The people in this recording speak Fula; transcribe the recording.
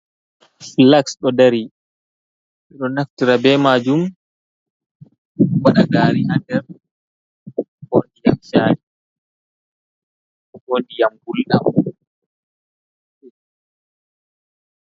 Flaks ɗo dari. Ɓe ɗo naftira be maajum waɗa gaari ha nder, ko shayi, ko ndiyam gulɗam.